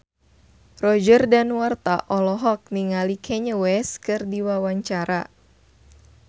Roger Danuarta olohok ningali Kanye West keur diwawancara